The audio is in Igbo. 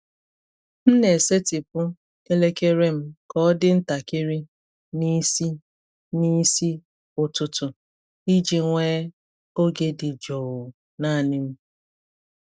M na-esetịpụ elekere m ka ọ dị ntakịrị n’isi n’isi ụtụtụ iji nwee oge dị jụụ naanị m.